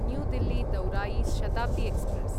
new Delhi दौरायि Shatabdi express